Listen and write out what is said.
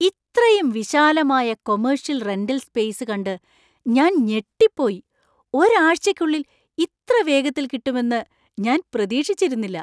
ഇത്രയും വിശാലമായ commercial rental space കണ്ട് ഞാൻ ഞെട്ടിപ്പോയി. ഒരാഴ്ചയ്ക്കുള്ളിൽ ഇത്ര വേഗത്തിൽ കിട്ടുമെന്ന് ഞാൻ പ്രതീക്ഷിച്ചിരുന്നില്ല!